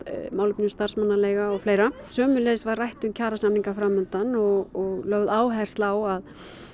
málefnum starfsmannaleiga og fleira sömuleiðis var rætt um kjarasamninga fram undan og lögð áhersla á að